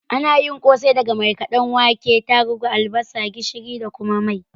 Ana yin kosai daga markaɗadɗen wake, tarubu, albasa, gishiri da kuma mai